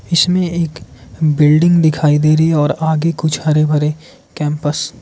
इसमें एक बिल्डिंग दिखाई दे रही है और आगे कुछ हरे भरे केंपस --